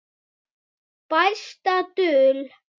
Besta dul